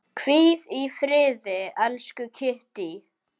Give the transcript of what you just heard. Hvíl í friði, elsku Kittý.